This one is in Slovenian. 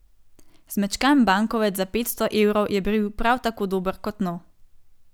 Zmečkan bankovec za petsto evrov je bil prav tako dober kot nov.